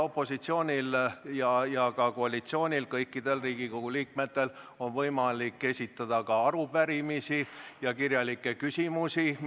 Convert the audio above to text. Nii opositsioonil kui ka koalitsioonil, st kõikidel Riigikogu liikmetel, on võimalik esitada ministritele arupärimisi ja kirjalikke küsimusi.